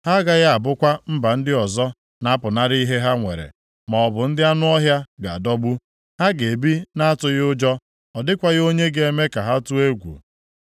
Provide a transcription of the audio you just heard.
Ha agaghị abụkwa mba ndị ọzọ na-apụnara ihe ha nwere, maọbụ ndị anụ ọhịa ga-adọgbu. Ha ga-ebi na-atụghị ụjọ, ọ dịkwaghị onye ga-eme ka ha tụọ egwu.